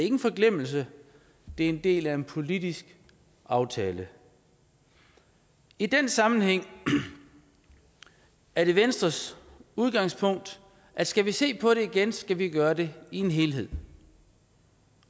en forglemmelse det er en del af en politisk aftale i den sammenhæng er det venstres udgangspunkt at skal vi se på det igen skal vi gøre det i en helhed